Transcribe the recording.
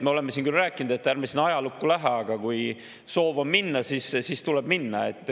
Me oleme siin küll rääkinud, et ärme ajalukku lähe, aga kui soov on minna, siis tuleb minna.